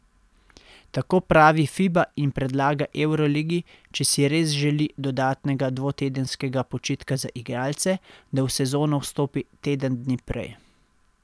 Tako pravi Fiba in predlaga evroligi, če si res želi dodatnega dvotedenskega počitka za igralce, da v sezono vstopi teden dni prej.